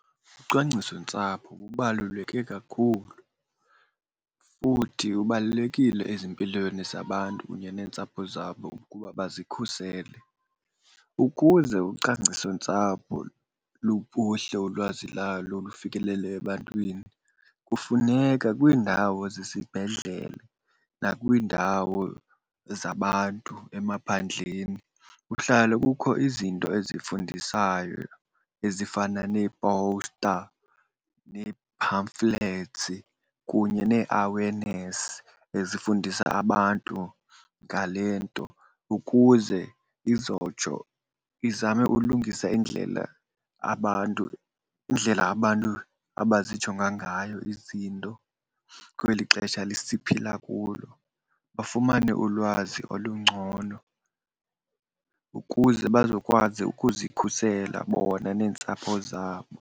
Ucwangcisontsapho lubaluleke kakhulu futhi ubalulekile ezimpilweni zabantu kunye neentsapho zabo ukuba bazikhusele. Ukuze ucwangcisontsapho luphuhle ulwazi lalo lufikelele ebantwini kufuneka kwiindawo zesibhedlele nakwiindawo zabantu emaphandleni kuhlale kukho izinto ezifundisayo ezifana neepowusta nee-pamphlets kunye nee-awareness ezifundisa abantu ngale nto. Ukuze izotsho izame ulungisa indlela abantu, indlela abantu abazijonga ngayo izinto kweli xesha siphila kulo. Bafumane ulwazi olungcono ukuze bazokwazi ukuzikhusela bona neentsapho zabo.